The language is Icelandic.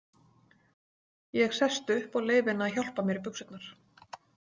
Ég sest upp og leyfi henni að hjálpa mér í buxurnar.